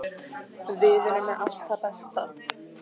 Við erum með allt það besta.